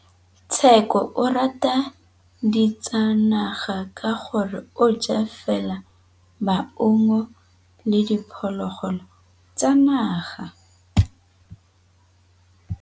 Tshekô o rata ditsanaga ka gore o ja fela maungo le diphologolo tsa naga.